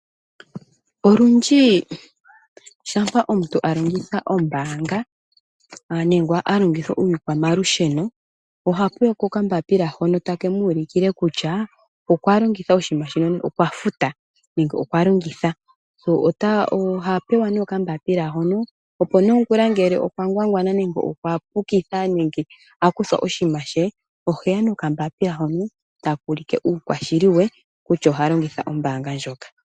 Olundji shampa omuntu a longitha ombaanga nenge a longitha iikwamalusheno, oha pewa ko okambapila hono take mu ulukile kutya okwa longitha oshinima shino nenge okwa futa nenge okwa longitha. Oha pewa okambapila hono, opo nongula ngele okwa ngwangwana nenge okwa pukitha nenge a kuthwa oshinima she, oheya nokambapila hono, taka ulike uukwashili we kutya oha longitha ombaanga ndjoka.